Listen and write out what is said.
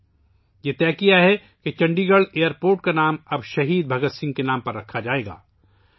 فیصلہ کیا گیا ہے کہ چندی گڑھ کے ہوائی اڈے کا نام اب شہید بھگت سنگھ کے نام پر رکھا جائے گا